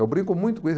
Eu brinco muito com